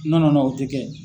o tɛ kɛ.